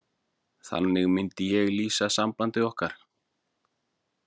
Þannig myndi ég lýsa sambandi okkar.